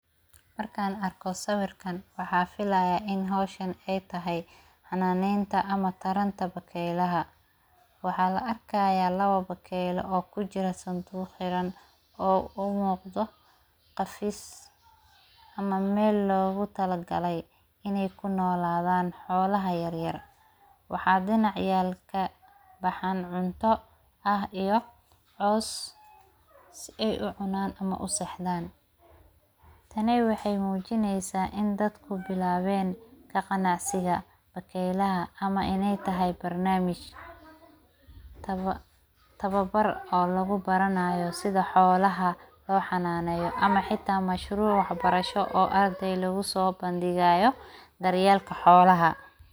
marka arko sawirkan waxa filaaya in hawshan ee tahay hananenta ama taranta bakelaha waxa la arkaya lawa bakelo oo kujiro sanduuq xiraan oo umuqto qafiis ama mel lagu talagale iney ku nolaadaan xolaha yaryar waxa cadeynaya ciyalka bahan cunta iyo coos si ey ucunan ama usaaxdan taani waxey mujiineysa in dadku bilawen ka qanaqsiga bakelaha ama ineey tahay barnamij tawabar oo lagu baranayo sidha xolaha lo hananeyo ama hata masharuc waxbarasho oo ardaay lagu so bandiigo daryelka xolaha.